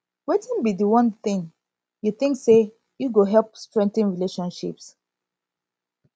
wetin be di one thing you think say e go help strengthen relationships